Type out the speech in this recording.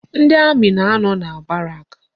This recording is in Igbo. Ndị amị na-anọ na barak.